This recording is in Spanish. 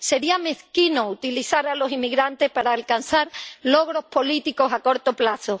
Sería mezquino utilizar a los inmigrantes para alcanzar logros políticos a corto plazo.